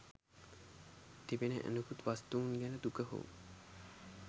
තිබෙන අනෙකුත් වස්තූන් ගැන දුක හෝ